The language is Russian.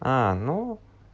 а ну